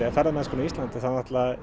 ferðamennskunni á Íslandi er